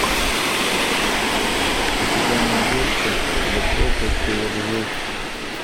у тебя найдется за пропастью во ржи